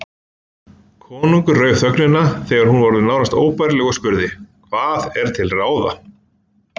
Konungur rauf þögnina þegar hún var orðin nánast óbærileg og spurði:-Hvað er til ráða?